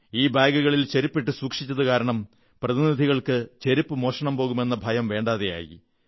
ഈ ബാഗുകളിൽ ചെരുപ്പിട്ട് സൂക്ഷിച്ചതുകാരണം പ്രതിനിധികൾക്ക് ചെരുപ്പ് മോഷണം പോകുമെന്ന ഭയം വേണ്ടാതായി